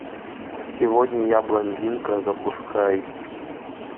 сегодня я блондинка запускай